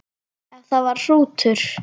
Ef það var hrútur.